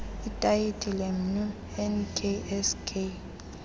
itayitile mnu nksk